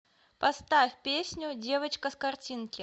поставь песню девочка с картинки